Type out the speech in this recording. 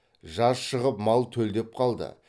жаз шығып мал төлдеп қалды